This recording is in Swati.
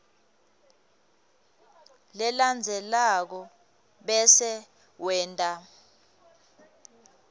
lelandzelako bese wenta